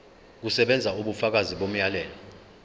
kusebenza ubufakazi bomyalelo